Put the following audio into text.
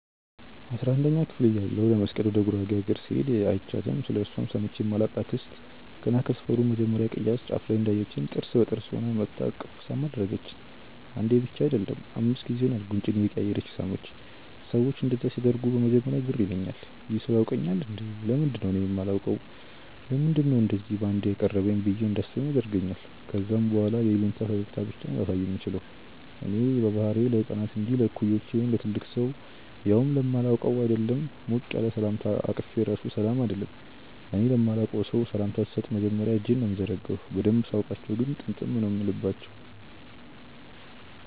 አስራንደኛ ክፍል እያለሁ ለመስቀል ወደ ጉራጌ አገር ስሄድ÷ አይችያትም ስለእርሷም ሰምቼ ማላቅ አክስት ገና ከሰፈሩ መጀመርያ ቅያስ ጫፍ ላይ እንዳየቺኝ ጥርስ በጥርስ ሆና መጥታ እቅፍ ሳም አደረገቺኝ። አንዴ ብቻ አይደለም÷ አምስት ጊዜ ይሆናል ጉንጬን እያቀያየረች የሳመቺኝ። ሰዎች እንደዛ ሲያደርጉ በመጀመርያ ግር ይለኛል- "ይህ ሰው ያውቀኛል እንዴ? ለምንድነው እኔ ማላውቀው? ለምንድነው እንደዚ ባንዴ ያቀረበኝ?" ብዬ እንዳስብም ያደርገኛል ከዛ በኋላ የይሉኝታ ፈገግታ ብቻ ነው ላሳየው ምችለው። እኔ በባህሪዬ ለህፃናት እንጂ ለእኩዮቼ ወይም ለትልቅ ሰው ያውም ለማላውቀው ÷ አይደለም ሞቅ ያለ ሰላምታ አቅፌ ራሱ ሰላም አልልም። እኔ ለማላቀው ሰው ሰላምታ ስሰጥ መጀመርያ እጄን ነው ምዘረጋው። በደንብ ሳውቃቸው ግን ጥምጥም ነው ምልባቸው።